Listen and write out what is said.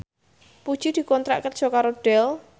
Puji dikontrak kerja karo Dell